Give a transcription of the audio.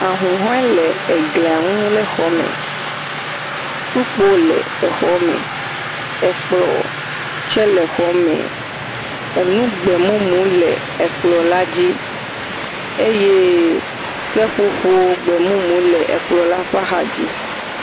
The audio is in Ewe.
Ahũhɔe le glia ŋu lé xɔme. kpukpo le exɔme. ekplɔ̃ tsɛ le xɔme. Enu gbemumuwo le ekplɔ̃la la dzi. eye seƒoƒo gbemumu le ekplɔ̃la ƒe axadzi.